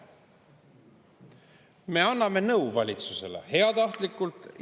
Me anname valitsusele heatahtlikult nõu.